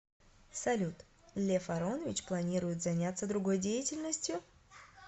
салют лев аронович планирует занятся другой деятельностью